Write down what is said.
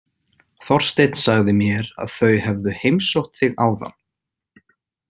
Þorsteinn sagði mér að þau hefðu heimsótt þig áðan.